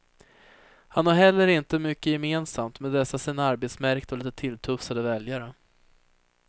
Han har heller inte mycket gemensamt med dessa sina arbetsmärkta och lite tilltufsade väljare.